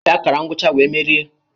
Enyi m gbara ọsọ gafee akara ngwụcha wee merie